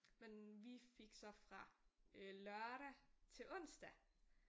Men vi fik så fra øh lørdag til onsdag